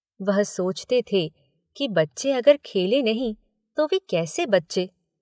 वह सोचते थे कि बच्चे अगर खेलें नहीं तो वे कैसे बच्चे?